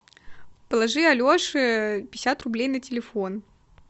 положи алеше пятьдесят рублей на телефон